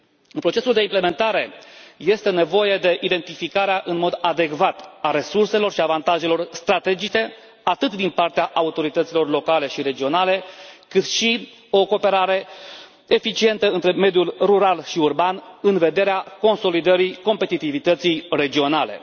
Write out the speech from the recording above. În procesul de implementare este nevoie de identificarea în mod adecvat a resurselor și a avantajelor strategice, atât din partea autorităților locale și regionale, cât și de o cooperare eficientă între mediul rural și urban, în vederea consolidării competitivității regionale.